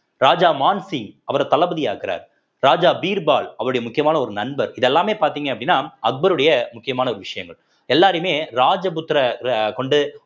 ராஜா மான்சிங் அவரை தளபதி ஆக்குறாரு ராஜா பீர்பால் அவருடைய முக்கியமான ஒரு நண்பர் இதெல்லாமே பார்த்தீங்க அப்படின்னா அக்பருடைய முக்கியமான ஒரு விஷயங்கள் எல்லாரையுமே ராஜபுத்திரர கொண்டு